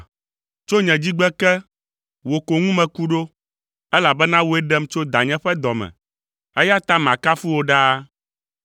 Tso nye dzigbe ke, wò ko ŋu meku ɖo, elabena wòe ɖem tso danye ƒe dɔ me, eya ta makafu wò ɖaa.